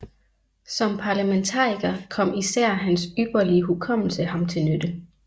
Som parlamentariker kom især hans ypperlige hukommelse ham til nytte